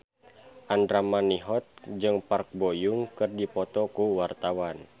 Andra Manihot jeung Park Bo Yung keur dipoto ku wartawan